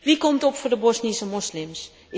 Wie komt op voor de Bosnische moslims?